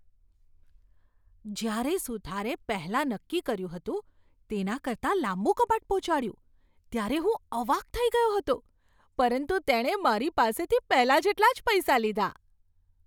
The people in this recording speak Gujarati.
જ્યારે સુથારે પહેલાં નક્કી કર્યું હતું તેના કરતાં લાંબું કબાટ પહોંચાડ્યું ત્યારે હું અવાક થઈ ગયો હતો, પરંતુ તેણે મારી પાસેથી પહેલાં જેટલા જ પૈસા લીધા.